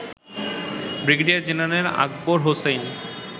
brigadier general Akbar Hossain